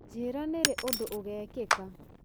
njĩĩra nĩ rĩ ũndũ ũgekĩka